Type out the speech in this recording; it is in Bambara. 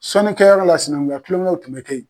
Sɔnikɛyɔrɔ la sinankunya kulonkew tun bɛ kɛ ye.